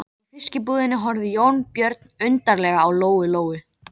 Plastiðjan Bjarg, vernduð vinnustofa fyrir öryrkja.